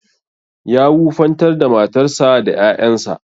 Ya wufantar da matarsa da ƴaƴansa.